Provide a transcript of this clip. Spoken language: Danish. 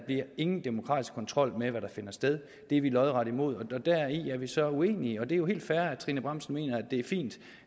ingen demokratisk kontrol bliver med hvad der finder sted det er vi lodret imod og deri er vi så uenige og det er jo helt fair at fru trine bramsen mener at det er fint